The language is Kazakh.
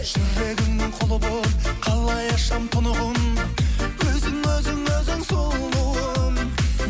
жүрегіңнің құлы болып қалай ашамын тұнығын өзің өзің өзің сұлуым